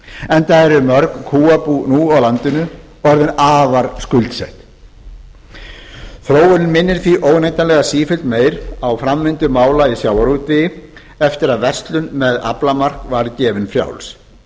enda eru mörg kúabú nú á landinu orðin afar skuldsett þróunin minnir því óneitanlega sífellt meir á framvindu mála í sjávarútvegi eftir að verslun með aflamark var gefin frjáls